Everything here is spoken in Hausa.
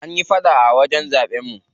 An yi faɗa a wajen zaɓen mu.